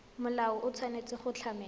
molao o tshwanetse go tlamela